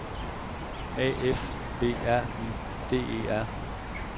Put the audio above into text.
A F B R Y D E R